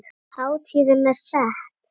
Hátíðin er sett.